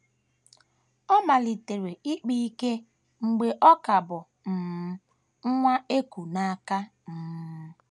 Ọ malitere ịkpa ike mgbe ọ ka bụ um nwa e ku n’aka. um